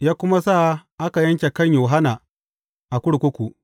ya kuma sa aka yanke kan Yohanna a kurkuku.